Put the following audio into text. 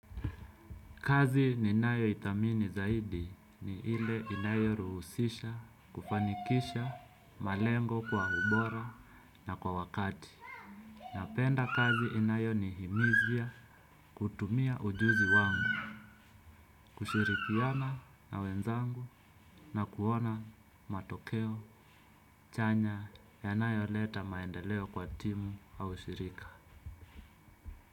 Kazi ninayoithamini zaidi ni ile inayoruhusisha, kufanikisha, malengo kwa ubora na kwa wakati. Napenda kazi inayonihimiza kutumia ujuzi wangu, kushirikiana na wenzangu na kuona matokeo chanya yanayoleta maendeleo kwa timu au shirika.